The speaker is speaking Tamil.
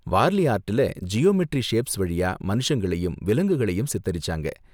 வார்லி ஆர்ட்ல ஜியாமெட்ரி ஷேப்ஸ் வழியா மனுஷங்களையும், விலங்குகளையும் சித்தரிச்சாங்க.